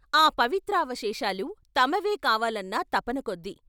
ఆ వవిత్రావ శేషాలు తమవే కావాలన్న తపనకొద్దీ....